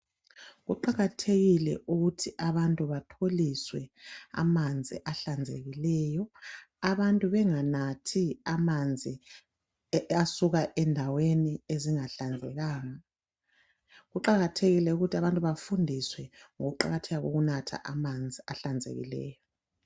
Kuqakathekile ukuthi abantu batholiswe amanzi ahlanzekileyo, abantu banganathi amanzi asuka endaweni ezingahlanzekanga. Kuqakathekile ukuthi abantu bafundiswe ngokuqakatheka kokunatha amanzi ahlanzekileyo.